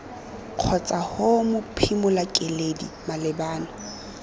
kgotsa ho mophimola keledi malebana